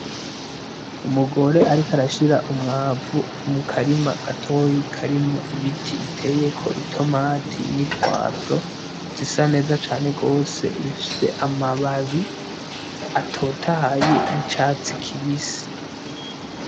Umugore ariko arashira umwavu mukarima gatoyi karimwo ibiti biteyeko itomati ni pwavro, zisa neza cane gose zifise amababi atotahaye y'icatsi kibisi.